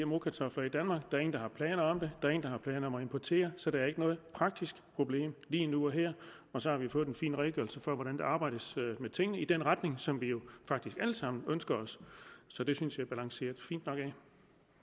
gmo kartofler i danmark der er ingen der har planer om det der er ingen der har planer om at importere så der er ikke noget praktisk problem lige nu og her og så har vi fået en fin redegørelse for hvordan der arbejdes med tingene i den retning som vi jo faktisk alle sammen ønsker os så det synes